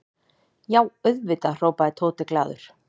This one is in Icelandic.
Já, auðvitað hrópaði Tóti glaður.